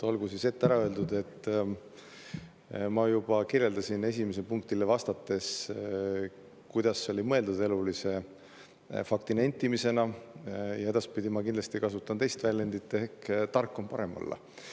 Olgu siis ette ära öeldud – ma seda juba kirjeldasin esimesele vastates –, et see oli mõeldud elulise fakti nentimisena ja edaspidi ma kindlasti kasutan väljendit, et tark on parem olla.